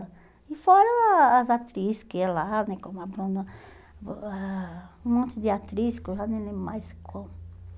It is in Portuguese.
E fora as atriz que iam lá, né, como a Bruna, ãh um monte de atriz que eu já nem lembro mais como.